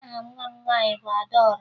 Aha nwa m nwaanyị bụ Adaọra